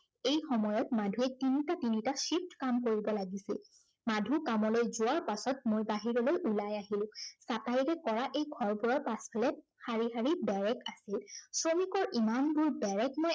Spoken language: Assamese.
এই সময়ত মাধুৱে তিনিটা তিনিটা shift কাম কৰিব লাগিছিল। মাধু কামলৈ যোৱাৰ পাছত মই বাহিৰলৈ ওলাই আহিলো। চাটাইৰে কৰা এই ঘৰবোৰৰ পাছফালে শাৰী শাৰী বেৰেক থাকে। শ্ৰমিকৰ ইমানবোৰ বেৰেক মই